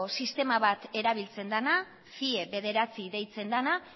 sistema bat erabiltzen dena cie bederatzi deitzen dena